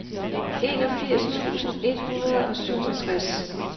enogfirs tusind et hundrede og syvogtres